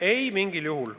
Ei, mitte mingil juhul.